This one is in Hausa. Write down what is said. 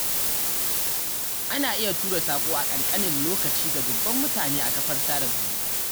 Ana iya tura saƙo a ƙanƙanin lokaci ga dubban mutane a kafar sada zumunta.